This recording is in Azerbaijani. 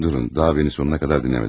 Durun, daha məni sonuna qədər dinləmədiniz.